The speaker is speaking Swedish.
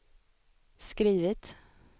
skrivit